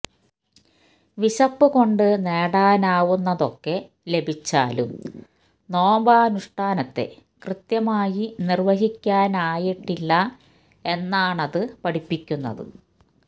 വിശപ്പ് കൊണ്ട് നേടാനാവുന്നതൊക്കെ ലഭിച്ചാലും നോമ്പനുഷ്ഠാനത്തെ കൃത്യമായി നിര്വഹിക്കാനായിട്ടില്ല എന്നാണത് പഠിപ്പിക്കുന്നത്